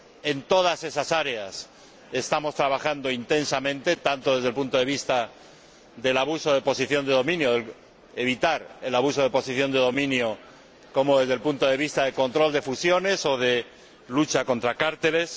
En todas esas áreas estamos trabajando intensamente, tanto desde el punto de vista del abuso de la posición de dominio —para evitar el abuso de la posición de dominio— como desde el punto de vista del control de fusiones o de la lucha contra los cárteles.